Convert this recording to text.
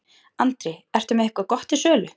Andri: Ertu með eitthvað gott til sölu?